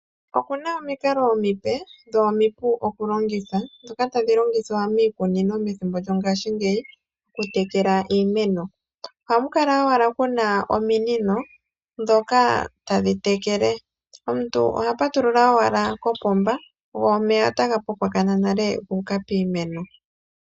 Opena omikalo omipe dho omipu okulongitha dhoka tadhi longithwa miikunino methimbo lyongaashingeyi okutekela iimeno. Ohapu kala owala pena ominino dhoka tadhi tekele omuntu oha patulula owala kopomba go omeya taga popokonona owala guuka kiimeno.